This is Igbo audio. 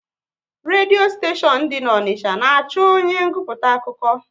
Redio steshion dị n'Onicha na achọ onye nguputa akụkọ